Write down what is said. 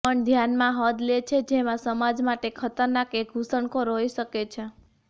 પણ ધ્યાનમાં હદ લે છે જેમાં સમાજ માટે ખતરનાક એક ઘુસણખોર હોઈ શકે છે